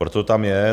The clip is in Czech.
Proto tam je.